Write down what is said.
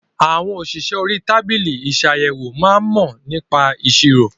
Àwọn òṣìṣẹ́ orí tábìlì isàyèwò máa ń mò nípa ìṣirò